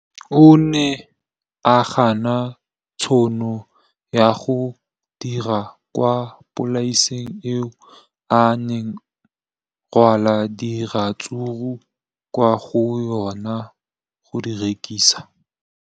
O ne a gana tšhono ya go dira kwa polaseng eo a neng rwala diratsuru kwa go yona go di rekisa.